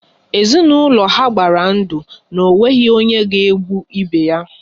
Ezinaụlọ ha gbara ndụ na ọ nweghị onye ga-egbu ibe ya